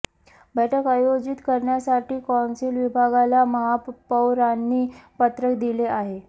बैठक आयोजित करण्यासाठी कौन्सिल विभागाला महापौरांनी पत्र दिले आहे